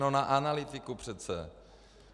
No na analytiku přece.